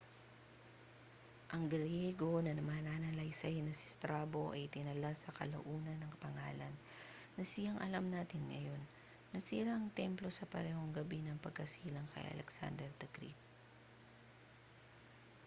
ang griyego na mananalaysay na si strabo ay itinala sa kalaunan ang pangalan na siyang alam natin ngayon nasira ang templo sa parehong gabi ng pagkasilang kay alexander the great